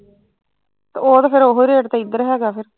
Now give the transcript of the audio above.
ਉਹ ਤੇ ਫੇਰ ਉਹੋ ਰੇਟ ਏਧਰ ਹੈਗਾ ਫਿਰ